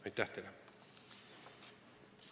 Aitäh teile!